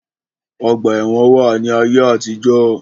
Ọgbà ẹ̀wọn wà ní ayé àtijó.